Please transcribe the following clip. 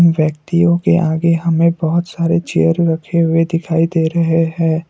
व्यक्तियों के आगे हमें बहोत सारे चेयर रखे हुए दिखाई दे रहे हैं।